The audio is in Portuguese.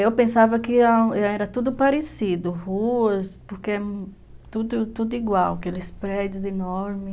Eu pensava que era tudo parecido, ruas, porque tudo igual, aqueles prédios enormes.